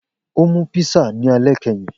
O mu písà ni alẹ kẹhin